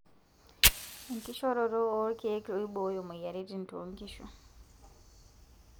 Enkishoroto oorkiek ooibooyo moyiaritin too nkishu.